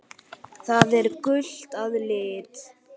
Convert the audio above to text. Það er gult að lit.